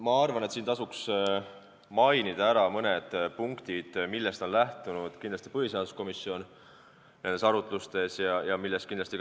Ma arvan, et tasuks mainida ära mõned punktid, millest on põhiseaduskomisjon ja kindlasti ka riigikaitsekomisjon nendes arutlustes lähtunud.